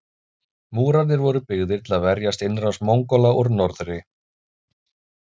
Múrarnir voru byggðir til að verjast innrás Mongóla úr norðri.